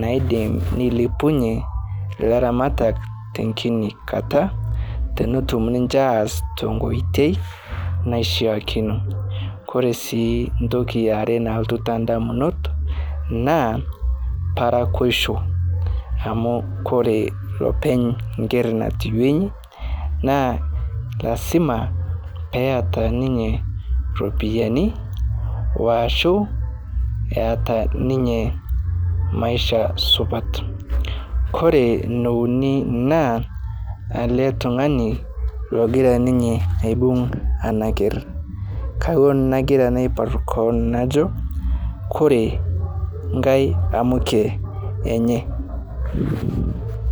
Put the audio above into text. naidim neilepunye laramatak tenkini kata tenetum ninche as tenkoitei naishakino Koresii ntoki aare naku naponu tandamunot naa parakoshuo amu kore lopeny nkerr natiwenyi naa lasima peata ninye ropiyani washu eata ninye maisha supat, Kore neuni naa ale tungani logira ninye aibug anaker kawuon nagira naipar koon najo kore nkae amuke enye.